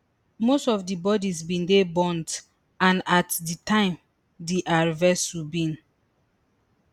most of di bodies bin dey burnt and at di time dr vasu bin